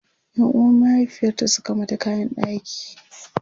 Yan uwan mahaifiyarta Suka mata kayan ɗaki